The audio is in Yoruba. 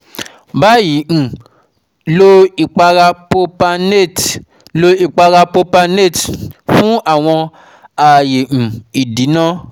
bayi n um lo ipara propynate lo ipara propynate fun awọn aaye um idina